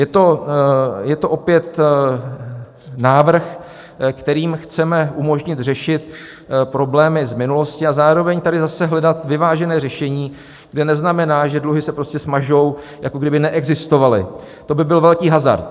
Je to opět návrh, kterým chceme umožnit řešit problémy z minulosti, a zároveň tady zase hledat vyvážené řešení, kde neznamená, že dluhy se prostě smažou, jako kdyby neexistovaly, to by byl velký hazard.